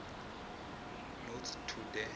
notes to the